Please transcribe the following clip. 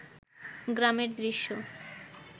গ্রামের দৃশ্য